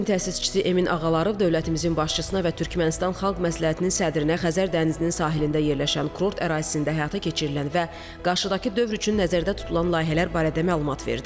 Cəbrizin təsisçisi Emin Ağalarov dövlətimizin başçısına və Türkmənistan xalq məsləhətinin sədrinə Xəzər dənizinin sahilində yerləşən kurort ərazisində həyata keçirilən və qarşıdakı dövr üçün nəzərdə tutulan layihələr barədə məlumat verdi.